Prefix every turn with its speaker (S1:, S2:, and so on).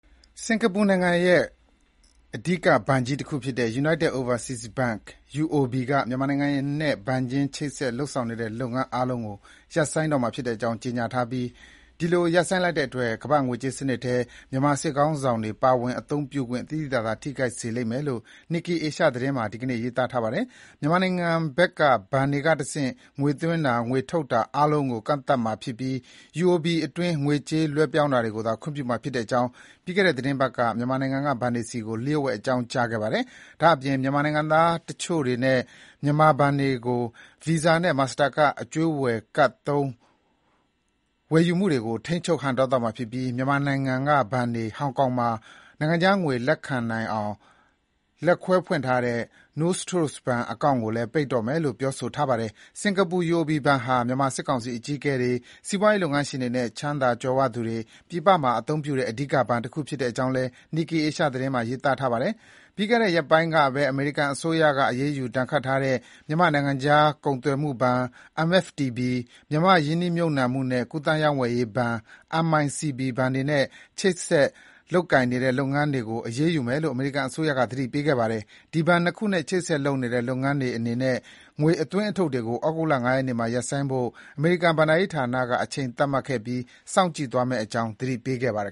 S1: စင်္ကာပူနိုင်ငံရဲ့ အဓိက ဘဏ်ကြီးတခုဖြစ်တဲ့ United Overseas Bank UOB က မြန်မာနိုင်ငံနဲ့ ဘဏ်ချင်း ချိတ်ဆက် လုပ်ဆောင်နေတဲ့ လုပ်ငန်း အားလုံးကို ရပ်ဆိုင်းတော့မှာ ဖြစ်တဲ့အကြောင်း ကြေညာထားပြီး ဒီလို ရပ်ဆိုင်းလိုက်တဲ့အတွက် ကမ္ဘာ့ငွေကြေးစနစ်ထဲ မြန်မာစစ်ခေါင်းဆောင်တွေ ပါဝင် အသုံးပြုခွင့် သိသိသာသာ ထိခိုက်စေလိမ့်မယ်လို့ Nikkei Asia သတင်းမှာ ဒီနေ့ ရေးသားထားပါတယ်။ မြန်မာနိုင်ငံဘက်က ဘဏ်တွေကတဆင့် ငွေသွင်းတာ၊ ငွေထုတ်တာ အားလုံးကို ကန့်သတ်မှာဖြစ်ပြီး UOB အတွင်း ငွေကြေး လွှဲပြောင်းတာကိုသာ ခွင့်ပြုမှာ ဖြစ်တဲ့အကြောင်း ပြီးခဲ့တဲ့ သီတင်းပတ်က မြန်မာနိုင်ငံက ဘဏ်တွေဆီကို လျှို့ဝှက် အကြောင်းကြားခဲ့ပါတယ်။ ဒါ့အပြင် မြန်မာနိုင်ငံသားတွေနဲ့ မြန်မာဘဏ်တွေကို Visa နဲ့ Master Card အကြွေးဝယ်ကဒ်သုံး ဝယ်ယူမှုတွေကို ထိန်းချုပ်ဟန့်တားသွားမှာ ဖြစ်ပြီး မြန်မာနိုင်ငံက ဘဏ်တွေ ဟောင်ကောင်မှာ နိုင်ငံခြားငွေ လက်ခံနိုင်အောင် လက်ခွဲဖွင့်ထားတဲ့ Nostro ဘဏ်အကောင့်တွေကိုလည်း ပိတ်တော့မယ်လို့ ပြောဆိုထားပါတယ်။ စင်္ကာပူ UOB ဘဏ်ဟာ မြန်မာစစ်ကောင်စီအကြီးအကဲတွေ စီးပွားရေးလုပ်ငန်းရှင်တွေနဲ့ ချမ်းသာကြွယ်ဝသူတွေ ပြည်ပမှာ အသုံးပြုတဲ့ အဓိက ဘဏ်တခု ဖြစ်တဲ့အကြောင်းလည်း Nikkei Asia သတင်းမှာ ရေးသားထားပါတယ်။ ပြီးခဲ့တဲ့ ရက်ပိုင်းကပဲ အမေရိကန်အစိုးရ အရေးယူ ဒဏ်ခတ်ထားတဲ့ မြန်မာ့နိုင်ငံခြား ကုန်သွယ်မှုဘဏ် (MFTB)၊ မြန်မာ့ရင်းနှီးမြုပ်နှံမှုနဲ့ ကူးသန်း ရောင်းဝယ်ရေးဘဏ် (MICB) ဘဏ်တွေနဲ့ ဆက်လက်ချိတ်ဆက် လုပ်ကိုင်နေတဲ့ လုပ်ငန်းတွေကို အရေးယူမယ်လို့ အမေရိကန်အစိုးရက သတိပေးခဲ့ပါတယ်။ အဲဒီဘဏ် ၂ ခုနဲ့ ချိတ်ဆက်လုပ်နေတဲ့ လုပ်ငန်းတွေအနေနဲ့ ငွေအသွင်းအထုတ်တွေကို ဩဂုတ်လ ၅ ရက်နေ့မှာ ရပ်ဆိုင်းဖို့ အမေရိကန်ဘဏ္ဍာရေးဌာနက အချိန်သတ်မှတ်ခဲ့ပြီး စောင့်ကြည့်သွားမယ့် အကြောင်း သတိပေးခဲ့ပါတယ်